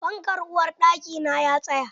Fankan uwarɗakina ya tsaya.